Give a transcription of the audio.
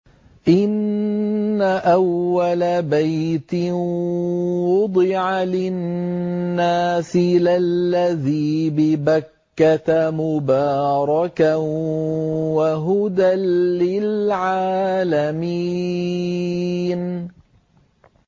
إِنَّ أَوَّلَ بَيْتٍ وُضِعَ لِلنَّاسِ لَلَّذِي بِبَكَّةَ مُبَارَكًا وَهُدًى لِّلْعَالَمِينَ